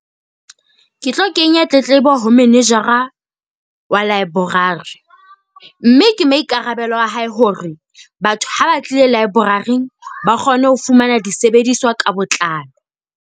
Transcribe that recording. Ke tlo kenya tletlebo ho manager-ra wa library. Mme ke maikarabelo a hae hore batho ha ba tlile library-ng, ba kgone ho fumana disebediswa ka botlalo.